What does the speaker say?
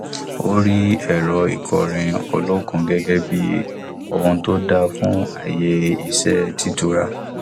ó rí ẹrọ ìkọrin olókun gẹgẹ bí ohun tó dáa fún àyè iṣẹ títura